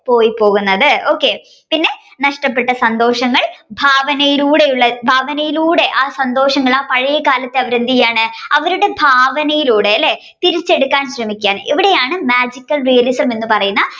പോയിപോകുന്നത്. okay പിന്നെ നഷ്ടപെട്ട സന്തോഷങ്ങൾ ഭാവനയിലൂടെയുള്ള ഭാവനയിലൂടെ ആ സന്തോഷങ്ങൾ ആ പഴയ കാലത്തെ അവർ എന്തെയാണ് അവരുടെ ഭാവനയിലൂടെ അല്ലെ തിരിച്ചെടുക്കാൻ ശ്രമിക്കുകയാണ് ഇവിടെയാണ് Magical realism എന്ന് പറയുന്ന